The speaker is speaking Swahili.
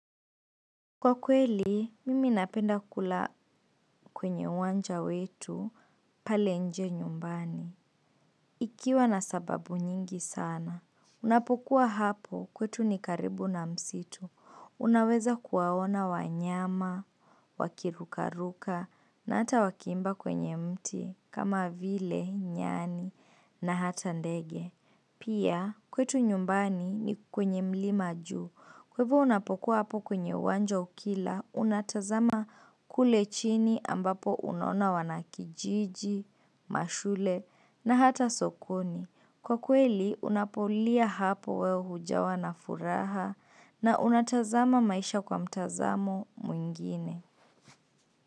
Kwa kweli, mimi napenda kula kwenye uwanja wetu pale nje nyumbani. Ikiwa na sababu nyingi sana. Unapokuwa hapo kwetu ni karibu na msitu. Unaweza kuwaona wanyama, wakirukaruka, na hata wakiimba kwenye mti, kama vile, nyani, na hata ndege. Pia kwetu nyumbani ni kwenye mlima juu. Kwa hivyo unapokuwa hapo kwenye uwanja ukila, unatazama kule chini ambapo unaona wanakijiji, mashule na hata sokoni. Kwa kweli, unapolia hapo wewe hujawa na furaha na unatazama maisha kwa mtazamo mwingine.